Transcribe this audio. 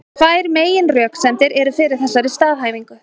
Tvær meginröksemdir eru fyrir þessari staðhæfingu.